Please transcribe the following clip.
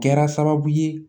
Kɛra sababu ye